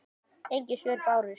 Engin svör bárust.